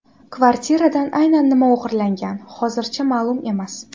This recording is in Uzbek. Kvartiradan aynan nima o‘g‘irlangan hozircha ma’lum emas.